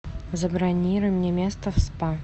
забронируй мне место в спа